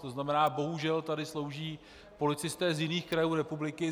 To znamená, bohužel tady slouží policisté z jiných krajů republiky.